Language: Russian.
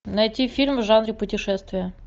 найти фильм в жанре путешествия